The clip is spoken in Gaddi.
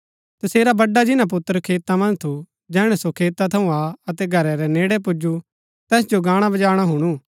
तसेरा बड्‍डा जिन्‍ना पुत्र खेता मन्ज थू जैहणै सो खेता थऊँ आ अतै घरा रै नेड़ै पुजू तैस जो गाणबजाण हुणु